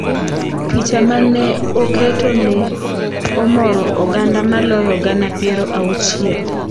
picha mane oketo ne omoro oganda maloyo gana piero auchiel